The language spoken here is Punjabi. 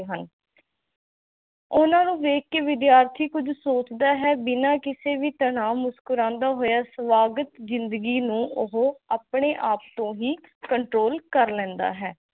ਉਹਨਾਂ ਨੂੰ ਦੇਖ ਕੇ ਵਿਦਿਆਰਥੀ ਕੁਝ ਸੋਚਦਾ ਬਿਨਾ ਕਿਸੇ ਵੀ ਤਨਾਹ ਮੁਕਤ ਕਰਾਂਦਾ ਹੋਇਆ ਸੁਆਗਤ ਜਿੰਦਗੀ ਨੂੰ ਉਹ ਆਪਣੇ ਆਪ ਤੋ ਹੀ ਕੰਟ੍ਰੋਲ ਕਰ ਲੇੰਦਾ ਹੈ